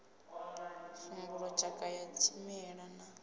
sambulu tshakha ya tshimela na